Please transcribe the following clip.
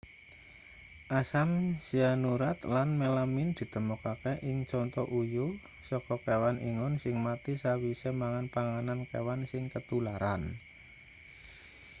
asam sianurat lan melamin ditemokake ing conto uyuh saka kewan ingon sing mati sawise mangan panganan kewan sing ketularan